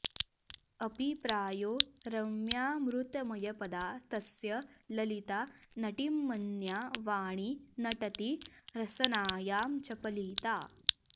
अपि प्रायो रम्यामृतमयपदा तस्य ललिता नटींमन्या वाणी नटति रसनायां चपलिता